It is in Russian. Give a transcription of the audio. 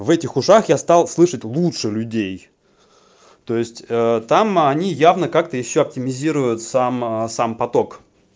в этих ушах я стал слышать лучше людей то есть ээ там они явно как-то ещё оптимизируют сам аа сам поток